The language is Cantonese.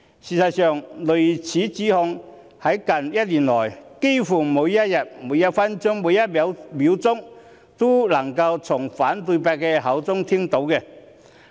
事實上，類似指控在近一年來幾乎每一天、每一分、每一秒都能夠從反對派的口中聽到。